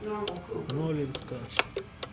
нолинска